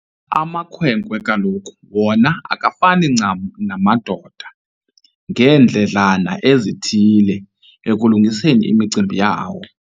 Amakhwenkwe kaloku wona akafani ncam namadoda ngeendledlana ezithile ekulungiseni imicimbi yawo.